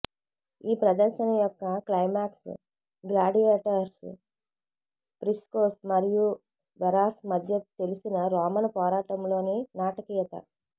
ఈ ప్రదర్శన యొక్క క్లైమాక్స్ గ్లాడియేటర్స్ ప్రిస్కోస్ మరియు వెరాస్ మధ్య తెలిసిన రోమన్ పోరాటంలో నాటకీయత